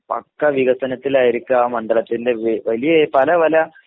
പക്കാ വികസനത്തിലായിരിക്കും ആ മണ്ഡലത്തിൻ്റെ വലിയ പലപല